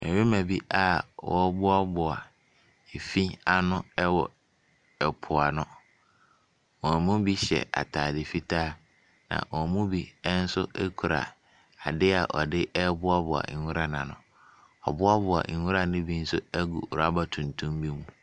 Mmarima bi a wɔreboaboa efi ano wɔ ɛpo ano. Wɔn mu bi hyɛ ataade fitaa, na wɔn mu bi nso kuta adeɛ a wɔde reboaboa nwura no ano. Wɔaboaboa nwura no bi nso agu rɔba tuntum bi mu.